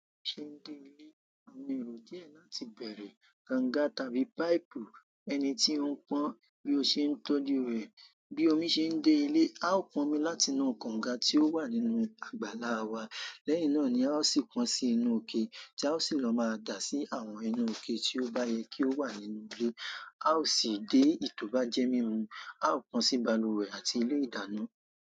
Bi omi ṣe ń dé ilé, àwọn erò díẹ̀ láti bèrè kànga tàbí páìpù ẹni tí ó ń pọn bí ó ṣe ń tójue. Bi omi se nde ile, ao panmi láti inú kanga ti o wa nínú àgbàlá waa. Lẹ́yìn náà ni a ó sì pọ́n sí inú ikè tí a ó sì lọ máa dà sí àwọn inú ikè tí ó bá yẹ kí ó wà nínú ilé. A ó sì dé èyí to bá jẹ́ mímu. A ó pọ́n sí balùwẹ̀ àti ilé ìdáná.